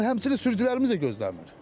Amma həmçinin sürücülərimiz də gözləmir.